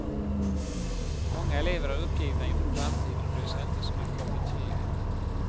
Många elever är uppgivna inför framtiden och bryr sig inte så mycket om betygen.